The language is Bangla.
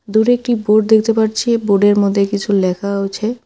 দূরে একটি বোর্ড দেখতে পারছি বোর্ডের মধ্যে কিছু লেখাও আছে।